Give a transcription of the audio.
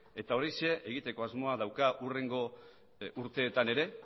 eta horixe egiteko asmoa dauka hurrengo urteetan ere